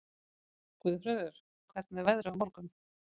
Guðfreður, hvernig er veðrið á morgun?